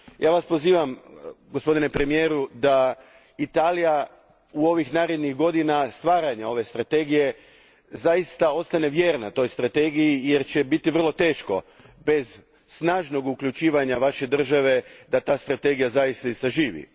Ja vas pozivam, gospodine premijeru, da Italija, u ovih narednih godina stvaranja ove strategije, zaista ostane vjerna toj strategiji jer će biti vrlo teško bez snažnog uključivanja vaše države da ta strategija zaista i zaživi.